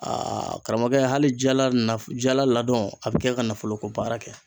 Aa karamɔgɔkɛ hali jala na jala ladɔn a bi kɛ ka nafoloko baara kɛ